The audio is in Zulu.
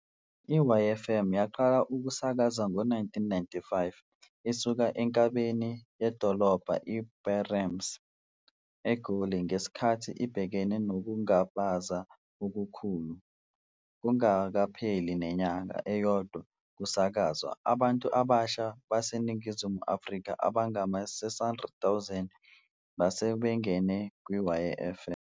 I-YFM yaqala ukusakaza ngo-1995 isuka enkabeni yedolobha iBertrams, eGoli, ngesikhathi ibhekene nokungabaza okukhulu. Kungakapheli nenyanga eyodwa kusakazwa abantu abasha baseNingizimu Afrika abangama-600,000 base bengene kwi-YFM.